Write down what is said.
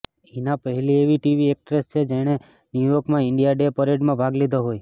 હીના પહેલી એવી TV actress છે જેણે ન્યુ યોર્કમાં ઈન્ડિયા ડે પરેડમાં ભાગ લીધો હોય